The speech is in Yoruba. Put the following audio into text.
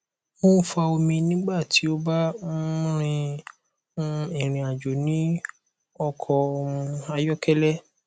o n fa omi nigba ti o ba um rin um irinajo ni ọkọ um ayọkẹlẹ